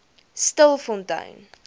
stilfontein